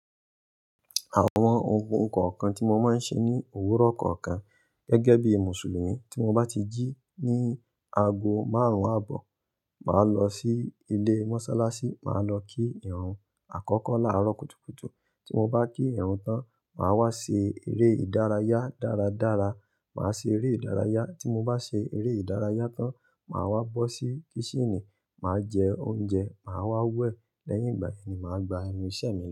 Àwọn ohun kookan tí mo máa ń ṣe ní òwúrọ̀ kọ̀ọ̀kan gẹ́gẹ́ bí Mùsùlùmí, tí mo bá ti jí ní ago márùn-ún àbọ̀, màá lọ sí ilé mọ́sálásí, màá lọ kí ìrun àkọ́kọ́ láàárọ̀ kùtùkùtù. Tí mo bá kí ìrun tán, màá wá ṣe eré ìdárayá dáradára. Màá ṣe eré ìdárayá. Tí mo bá ṣe eré ìdárayá tán, màá wá bọ́ sí kíṣìnì, màá jẹ oúnjẹ, màá wá wẹ̀. Lẹ́yìn ìgbà yẹn ni màá gba ẹnu ìṣe mi.